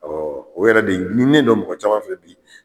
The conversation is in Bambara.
o yɛrɛ de ɲinnen don mɔgɔ caman fɛ bi.